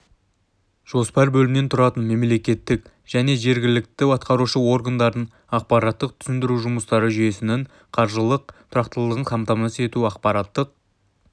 жоспар бөлімнен тұрады мемлекеттік және жергілікті атқарушы органдардың ақпараттық-түсіндіру жұмыстары жүйесінің қаржылық тұрақтылығын қамтамасыз ету ақпараттық